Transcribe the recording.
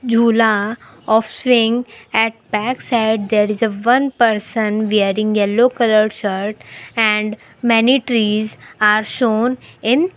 jhula of swing at back side there is a one person wearing yellow colour shirt and many trees are shown in --